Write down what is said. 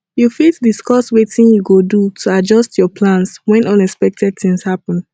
you fit discuss wetin you go do to adjust your plans when unexpected things happen